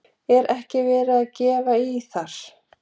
Er ekki verið að gefa í þar?